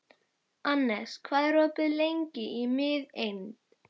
Annes, hvað er opið lengi í Miðeind?